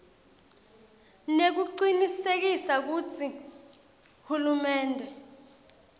nekucinisekisa kutsi hulumende